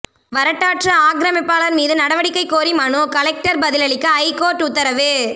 வரட்டாற்று ஆக்கிரமிப்பாளர் மீது நடவடிக்கை கோரி மனு கலெக்டர் பதிலளிக்க ஐகோர்ட் உத்தரவு